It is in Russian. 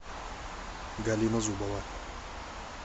галина зубова